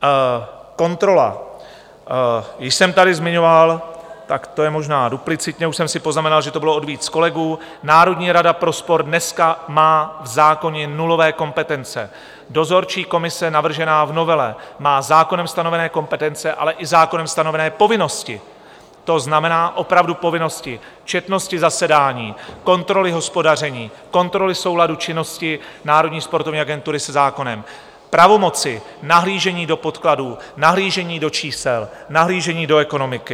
Kontrola - již jsem tady zmiňoval, tak to je možná duplicitně, už jsem si poznamenal, že to bylo od víc kolegů, Národní rada pro sport dneska má v zákoně nulové kompetence, dozorčí komise navržená v novele má zákonem stanovené kompetence, ale i zákonem stanovené povinnosti, to znamená opravdu povinnosti četnosti zasedání, kontroly hospodaření, kontroly souladu činnosti Národní sportovní agentury se zákonem, pravomoci, nahlížení do podkladů, nahlížení do čísel, nahlížení do ekonomiky.